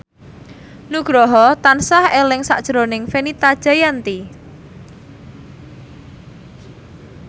Nugroho tansah eling sakjroning Fenita Jayanti